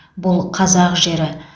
бұл қазақ жері